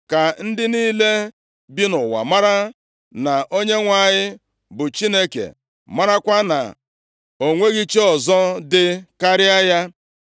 Ka ndị niile bi nʼụwa mara na Onyenwe anyị bụ Chineke, marakwa na o nweghị chi ọzọ dị karịa ya.